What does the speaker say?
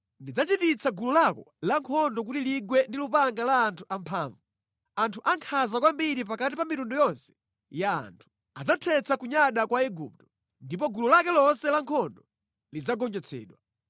Ndidzachititsa gulu lako lankhondo kuti ligwe ndi lupanga la anthu amphamvu, anthu ankhanza kwambiri pakati pa mitundu yonse ya anthu. Adzathetsa kunyada kwa Igupto, ndipo gulu lake lonse la nkhondo lidzagonjetsedwa.